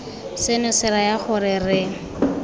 seno se raya gore re